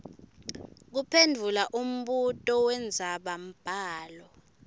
kuphendvula umbuto wendzabambhalo